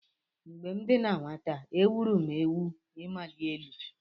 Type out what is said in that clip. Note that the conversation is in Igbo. Mgbe m dị na nwata, e gwuru m egwu ịmali elu.